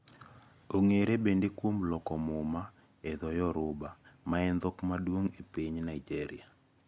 Ong`ere bende kuom loko muma e dhoyoruba maen dhok maduong` e piny Naijeria.